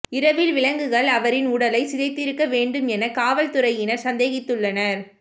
இரவில் விலங்குகள் அவரின் உடலைச் சிதைத்திருக்க வேண்டும் என காவல்துறையினர் சந்தேகித்துள்ளனர்